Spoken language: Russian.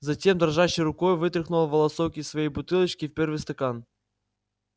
затем дрожащей рукой вытряхнула волосок из своей бутылочки в первый стакан